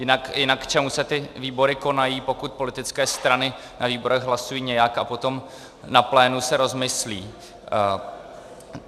Jinak k čemu se ty výbory konají, pokud politické strany na výborech hlasují nějak, a potom na plénu se rozmyslí?